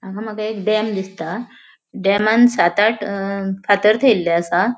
हांगा माका एक डेम दिसता डेमान सात आठ अ फातर थेयल्ले आसा.